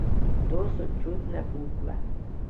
To so čudne bukve.